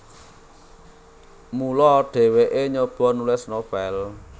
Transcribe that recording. Mula dhèwèké nyoba nulis novel